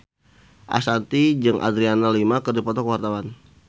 Ashanti jeung Adriana Lima keur dipoto ku wartawan